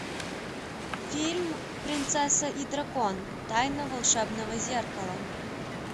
фильм принцесса и дракон тайна волшебного зеркала